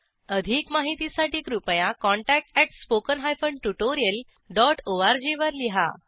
अधिक माहितीसाठी कृपया contactspoken tutorialorg वर लिहा